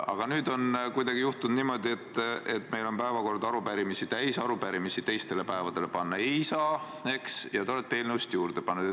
Aga nüüd on juhtunud kuidagi niimoodi, et meil on päevakord arupärimisi täis – arupärimisi teistele päevadele panna ei saa – ja te olete eelnõusid juurde pannud.